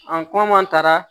An kuma taara